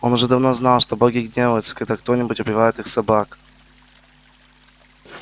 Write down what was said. он уже давно знал что боги гневаются когда кто нибудь убивает их собак